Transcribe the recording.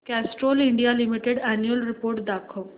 Castrol India limited annual report दाखव